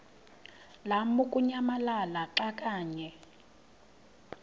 lamukunyamalala xa kanye